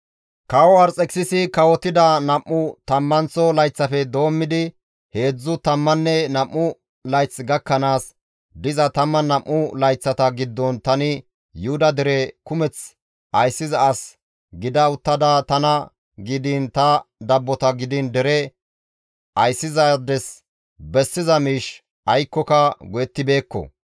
Kawo Arxekisisi kawotida nam7u tammanththo layththafe doommidi heedzdzu tammanne nam7u layth gakkanaas diza 12 layththata giddon tani Yuhuda dere kumeth ayssiza as gida uttada tana gidiin ta dabbota gidiin dere ayssizaades bessiza miish aykkoka go7ettibeekko.